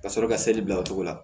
Ka sɔrɔ ka seli bila o cogo la